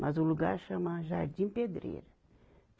Mas o lugar chama Jardim Pedreira.